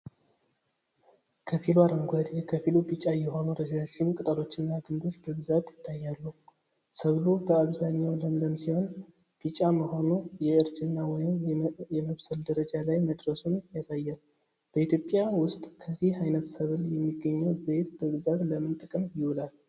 ከፊሉ አረንጓዴ ከፊሉ ቢጫ የሆኑ ረዣዥም ቅጠሎችና ግንዶች በብዛት ይታያሉ። ሰብሉ በአብዛኛው ለምለም ሲሆን፣ ቢጫ መሆኑ የእርጅና ወይም የመብሰል ደረጃ ላይ መድረሱን ያሳያል። በኢትዮጵያ ውስጥ ከዚህ ዓይነት ሰብል የሚገኘው ዘይት በብዛት ለምን ጥቅም ይውላል?